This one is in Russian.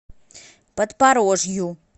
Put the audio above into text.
подпорожью